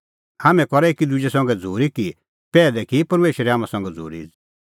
हाम्हैं करा तै एकी दुजै संघै झ़ूरी कि पैहलै की परमेशरै हाम्हां संघै झ़ूरी